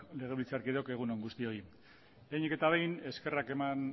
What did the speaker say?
legebiltzarkideok egun on guztioi lehenik eta behin eskerrak eman